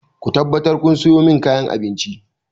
Ku tabbatar kun sayo min kayan abinci!